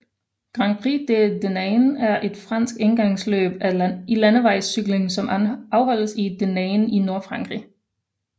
Grand Prix de Denain er et fransk endagsløb i landevejscykling som afholdes i Denain i Nordfrankrig